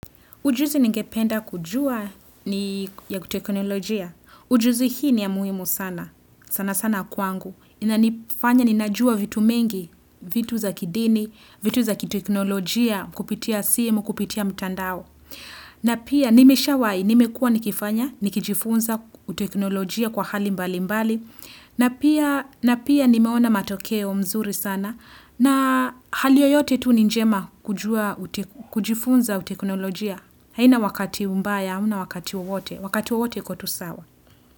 Ujuzi ngependa kujua ni ya teknolojia. Ujuzi hii ni ya muhimu sana. Sana sana kwangu. Ina nifanya ninajua vitu mengi, vitu za kidini, vitu za kiteknolojia kupitia simu, kupitia mtandao. Na pia nimeshawahi, nimekuwa nikifanya, nikijifunza uteknolojia kwa hali mbali mbali. Na pia nimeona matokeo mzuri sana. Na hali yoyote tu ni njema kujua, kujifunza uteknolojia. Haina wakati mbaya, hauna wakati wowote, wakati wowote ikutusawa.